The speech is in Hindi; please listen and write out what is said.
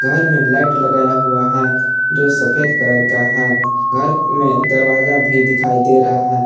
मे लाइट लगाया हुआ है जो सफेद कलर का है घर में दरवाजा भी दिखाई दे रहा हैं।